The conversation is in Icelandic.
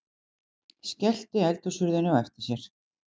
Skellti eldhúshurðinni á eftir sér.